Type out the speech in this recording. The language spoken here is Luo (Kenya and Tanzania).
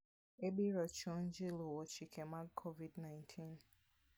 Ibiro chun ji luwo chike mag Covid 19.